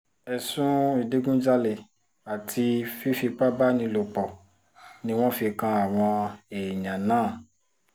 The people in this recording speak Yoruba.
ẹ̀sùn ìdígunjalè àti fífipá bá ní lò pọ̀ ni wọ́n fi kan àwọn èèyàn náà